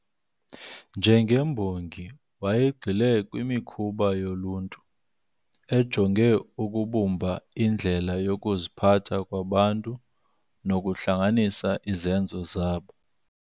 Njengembongi wayegxile kwimikhuba yoluntu, ejonge ukubumba indlela yokuziphatha kwabantu nokuhlanganisa izenzo zabo.